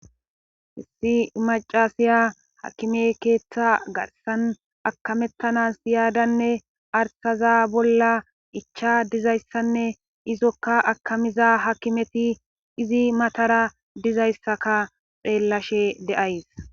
Issi macaasiya hakime keeththa garsan akamettanas iyaadanne arsaza bolla icha dizayssanne izokka akamiza hakimeti izi matara dizayssaka xeellashe de'ays